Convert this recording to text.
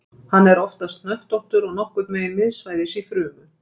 hann er oftast hnöttóttur og nokkurn veginn miðsvæðis í frumu